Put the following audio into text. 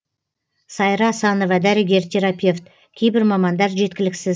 сайра асанова дәрігер терапевт кейбір мамандар жеткіліксіз